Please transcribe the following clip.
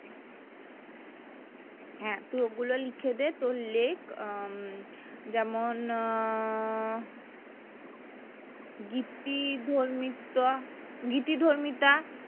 হ্যাঁ তুই ওগুলো লিখে দে তোর লেখ আহ যেমন আহ গীতি ধর্মীত গীতি ধর্মিতা